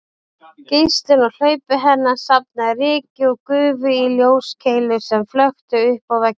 Geislinn úr hlaupi hennar safnaði ryki og gufu í ljóskeilu sem flökti uppá vegginn